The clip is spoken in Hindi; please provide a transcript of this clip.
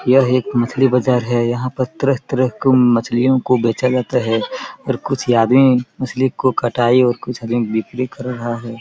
यह एक मछली बज़ार हैं यहाँ पर तरह-तरह के मछलियों को बेचा जाता हैं और कुछ आदमी मछली को कटाई और कुछ बिक्री कर रहा है।